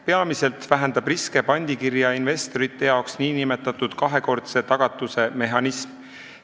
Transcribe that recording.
Peamiselt vähendab pandikirja investorite jaoks riske nn kahekordse tagatuse mehhanism.